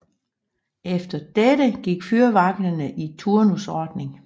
Efter dette gik fyrvagterne i turnusordning